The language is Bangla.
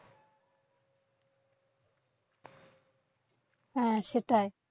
হ্যাঁ সেটাই।